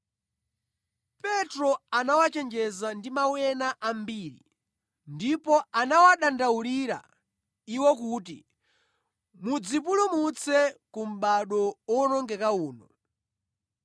Petro anawachenjeza ndi mawu ena ambiri, ndipo anawadandaulira iwo kuti, “Mudzipulumutse ku mʼbado owonongeka uno.”